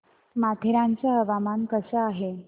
माथेरान चं हवामान कसं आहे